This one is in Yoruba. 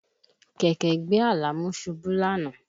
Kẹ̀kẹ́ gbé Àlàmú ṣubú lánàá